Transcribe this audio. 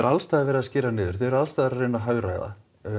alls staðar verið að skera niður þið eruð alls staðar að reyna að hagræða